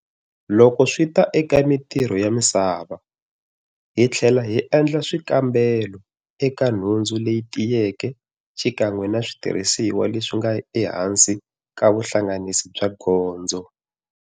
Loko swi ta eka mitirho ya misava, hi tlhela hi endla swikambelo eka nhundzu leti tiyeke xi kan'we na switirisiwa leswi nga ehansi ka vuhlanganisi bya gondzo.